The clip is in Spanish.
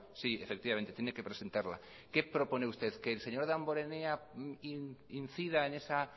sí efectivamente tiene que presentarla qué propone usted que el señor damborenea incida en esa